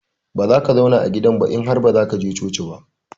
Bazaka zauna a gidannan ba in har bazaka je coci ba.